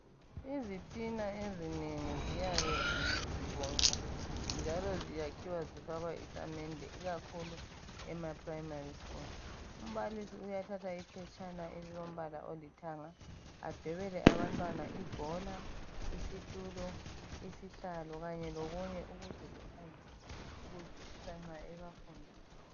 Izitina ezinengi ziyabe zizibomvu njalo ziyakhiwa zifakwa isamende ikakhulu ema primary school .Umbalisi uyathatha iphetshana elilombala olithanga adwebele abantwana ibhola, isitulo, isihlalo kanye lokunye ukuze ziphangise ukuzwisisa nxa ebafundisa